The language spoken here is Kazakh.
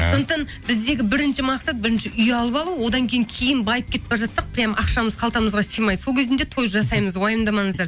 сондықтан біздегі бірінші мақсат бірінші үй алып алу одан кейін кейін байып кетіп бара жатсақ прямо ақшамыз қалтамызға сыймай сол кезінде той жасаймыз уайымдамаңыздар